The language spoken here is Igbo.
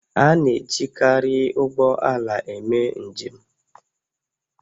A na-ejikarị ụgbọ ala eme njem